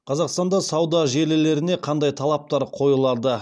қазақстанда сауда желілеріне қандай талаптар қойылады